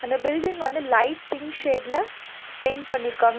அந்த பில்டிங் வந்து light pink ஷேட்ல பெயிண்ட் பண்ணிருக்காங்க.